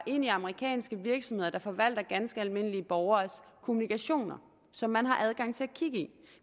ind i amerikanske virksomheder der forvalter ganske almindelige borgeres kommunikation som man har adgang til kigge i